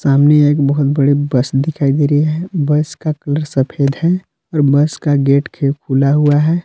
सामने एक बहोत बड़ी बस दिखाई दे रही है बस का कलर सफेद है और बस का गेट के खुला हुआ है।